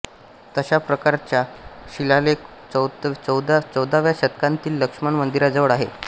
तशा प्रकारच्या शिलालेख चौदाव्या शतकांतील लक्ष्मण मंदिराजवळ आहे